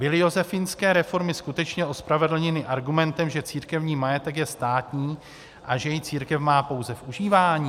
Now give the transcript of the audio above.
Byly josefínské reformy skutečně ospravedlněny argumentem, že církevní majetek je státní a že jej církev má pouze v užívání?" -